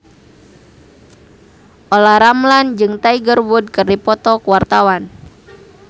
Olla Ramlan jeung Tiger Wood keur dipoto ku wartawan